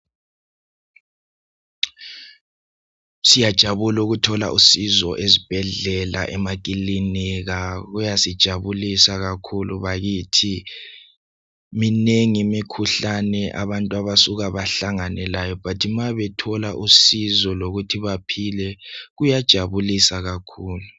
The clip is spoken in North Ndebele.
Siyajabula ukuthola usizo ezibhedlela emaklinika kuyasijabulisa kakhulu bakithi , minengi mikhuhlane abantu abasuka bahlangane layo but ma bethola usizo lokuthi baphile kuyajabukisa kakhulu